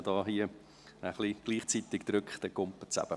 Manchmal, wenn man hier gleichzeitig drückt, springt es eben.